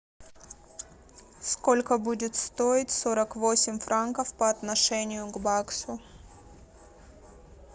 сколько будет стоить сорок восемь франков по отношению к баксу